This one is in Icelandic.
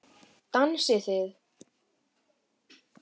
Dansið þið.